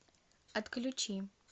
отключи